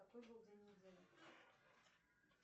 какой был день недели